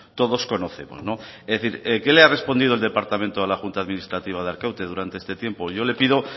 todos conocemos es decir qué le ha respondido el departamento a la junta administrativa de arkaute durante este tiempo yo le pido